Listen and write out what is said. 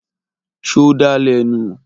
Ṣo dà lẹ̀ nu?